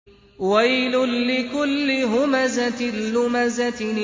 وَيْلٌ لِّكُلِّ هُمَزَةٍ لُّمَزَةٍ